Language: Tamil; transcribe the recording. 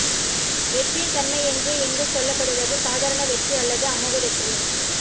வெற்றியின் தன்மை என்று இங்கு சொல்லப்படுவது சாதாரண வெற்றி அல்லது அமோக வெற்றி